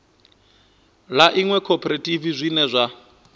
ḽa iṅwe khophorethivi zwine zwa